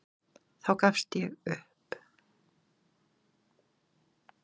Inda, er opið í Vesturbæjarís?